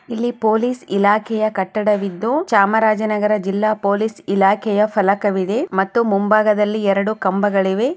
ಇಲ್ಲಿ ಪೊಲೀಸ್ ಇಲಾಖೆಯ ಕಟ್ಟಡವಿದ್ದು ಚಾಮರಾಜನಗರ ಜಿಲ್ಲಾ ಪೊಲೀಸ್ ಇಲಾಖೆಯ ಫಲಕವಿದೆ ಮತ್ತು ಮುಂಭಾಗದಲ್ಲಿ ಎರಡು ಕಂಬಗಳಿವೆ .